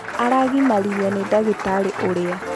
Araginaririo nĩ ndagitarĩ ũrĩa.